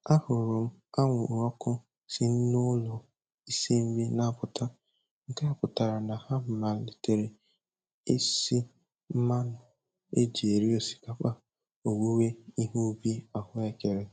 Ahụrụ m anwụrụ ọkụ si n'ụlọ isi nri na-apụta, nke a pụtara na ha amalitela isi mmanụ e ji eri osikapa owuwe ihe ubi ahụekere.